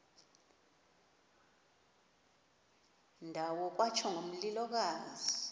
ndawo kwatsho ngomlilokazi